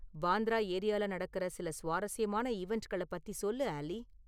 பாந்த்ரா ஏரியால நடக்குற சில சுவாரசியமான ஈவண்ட்களைப் பத்தி சொல்லு ஆல்லி